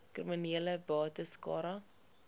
kriminele bates cara